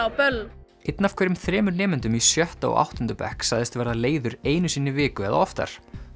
á böllum einn af hverjum þremur nemendum í sjötta og áttunda bekk sagðist verða leiður einu sinni í viku eða oftar